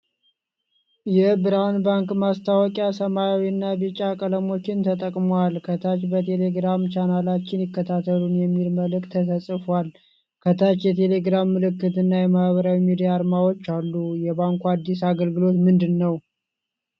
የብርሃን ባንክ ማስታወቂያ ሰማያዊ እና ቢጫ ቀለሞችን ተጠቅሟል። ። ከታች 'በቴሌግራም ቻናላችን ይከታተሉ' የሚል መልእክት ተጽፏል። ከታች የቴሌግራም ምልክትና የማኅበራዊ ሚዲያ አርማዎች አሉ። የባንኩ አዲስ አገልግሎት ምንድን ነው?